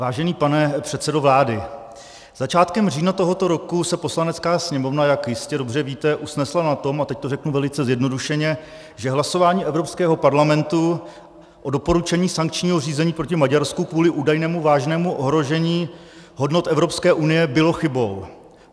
Vážený pane předsedo vlády, začátkem října tohoto roku se Poslanecká sněmovna, jak jistě dobře víte, usnesla na tom, a teď to řeknu velice zjednodušeně, že hlasování Evropského parlamentu o doporučení sankčního řízení proti Maďarsku kvůli údajnému vážnému ohrožení hodnot Evropské unie bylo chybou.